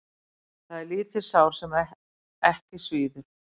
Það er lítið sár sem ekki svíður.